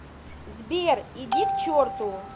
сбер иди к черту